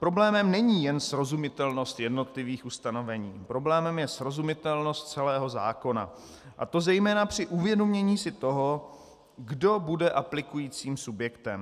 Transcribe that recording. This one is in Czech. Problémem není jen srozumitelnost jednotlivých ustanovení, problémem je srozumitelnost celého zákona, a to zejména při uvědomění si toho, kdo bude aplikujícím subjektem.